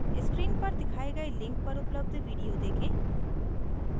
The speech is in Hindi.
screen पर दिखाए गए link पर उपलब्ध video देखें